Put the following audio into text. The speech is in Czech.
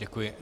Děkuji.